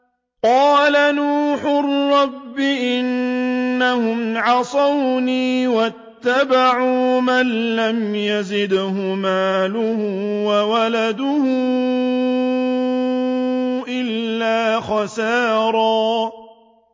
قَالَ نُوحٌ رَّبِّ إِنَّهُمْ عَصَوْنِي وَاتَّبَعُوا مَن لَّمْ يَزِدْهُ مَالُهُ وَوَلَدُهُ إِلَّا خَسَارًا